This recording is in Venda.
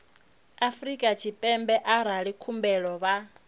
afrika tshipembe arali khumbelo vha